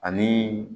Ani